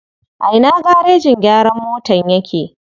A ina garejin gyaran motan yake?